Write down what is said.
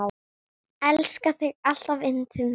Elska þig alltaf yndið mitt.